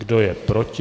Kdo je proti?